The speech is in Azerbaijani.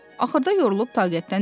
Axırda yorulub taqətdən düşdü.